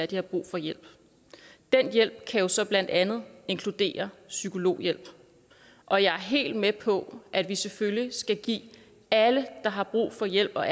de har brug for hjælp den hjælp kan jo så blandt andet inkludere psykologhjælp og jeg er helt med på at vi selvfølgelig skal give alle der har brug for hjælp og